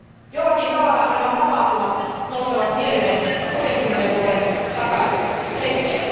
Jollakin tavalla nämä tapahtumat nostavat mieleen 60 vuoden takaiset hetket.